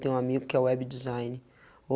Tem um amigo que é web designer.